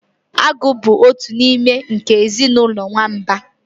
Agụ bụ otu n'ime nke ezinụlọ nwamba